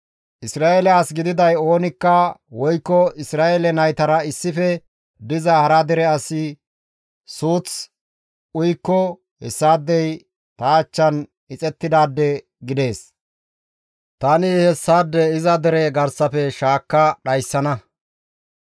«Isra7eele as gididay oonikka woykko Isra7eele naytara issife diza hara dere asi suuth uyikko hessaadey ta achchan ixettidaade gidees; tani hessaade iza dere garsafe shaakka dhayssana.